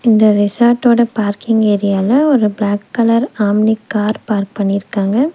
இந்த ரெசார்டோட பார்க்கிங் ஏரியால ஒரு black colour Omni car park பண்ணிருக்காங்க.